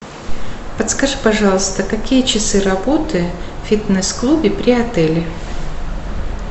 подскажи пожалуйста какие часы работы в фитнес клубе при отеле